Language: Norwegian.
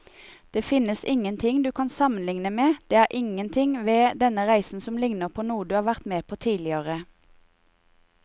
Det finnes ingenting du kan sammenligne med, det er ingenting ved denne reisen som ligner på noe du har vært med på tidligere.